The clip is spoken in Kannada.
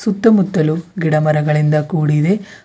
ಸುತ್ತ ಮುತ್ತಲು ಗಿಡ ಮರಗಳಿಂದ ಕೂಡಿದೆ.